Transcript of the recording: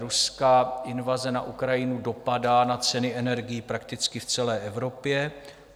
Ruská invaze na Ukrajinu dopadá na ceny energií prakticky v celé Evropě.